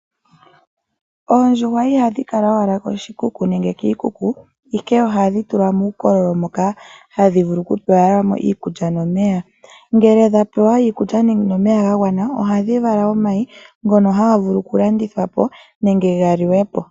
Oondjuhwa ohadhi kala owala ko shikuku, nenge kiikuku, ihe ohadhi tulwa muukololo moka hadhi vulu oku pewela mo iikulya no meya. Ngele dha pera iikulya nenge omeya ga gwana, ohadhi vala omayi ngono ha ga vulu oku landithwa po nenge ga liwepo.